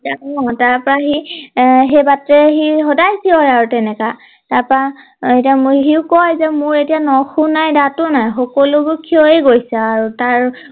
অ তাৰ পৰা সি এৰ সেই বাটেৰে সি সদায় চিঞৰে আৰু তেনেকা তাৰ পৰা সি কয় যে মোৰ এতিয়া নখও নাই দাতটো নাই সকলো ক্ষয় গৈছে আৰু তাৰ